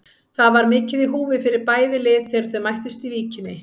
Það var mikið í húfi fyrir bæði lið þegar þau mættust í Víkinni.